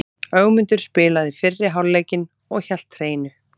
Ögmundur spilaði fyrri hálfleikinn og hélt hreinu.